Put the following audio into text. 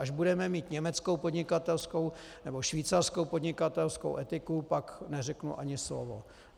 Až budeme mít německou podnikatelskou nebo švýcarskou podnikatelskou etiku, pak neřeknu ani slovo.